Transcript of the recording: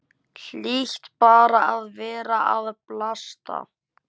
Hlýt bara að vera að bilast.